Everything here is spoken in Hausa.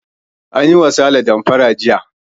An yi wa sale damfara jiya.